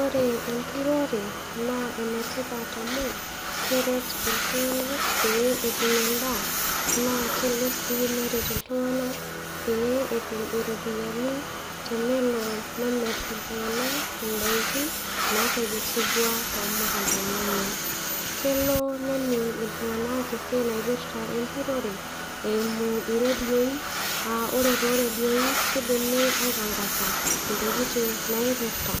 Ore enturore naa enetipat amu keret iltung'anak pee etum endaa naa kelo sii neret iltung'anak pee etum iropiyiani tenelo nemirr iltung'anak indaiki natekesutua tomukuntani, enye kelo nening iltung'anak esiai naipirrta enturore eimu iredioi uh ore toredioi kidimi aitangasa intokiting' naipirrta